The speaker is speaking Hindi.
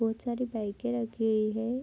बहोत सारे बाइके रखी हुई है।